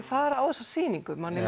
fara á þessa sýningu manni